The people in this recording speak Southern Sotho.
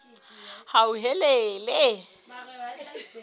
hauhelele